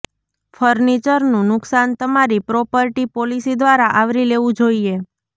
ફર્નિચરનું નુકસાન તમારી property policy દ્વારા આવરી લેવું જોઈએ